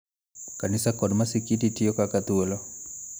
Kanisa kod masikiti tiyo kaka thuolo